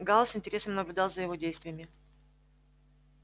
гаал с интересом наблюдал за его действиями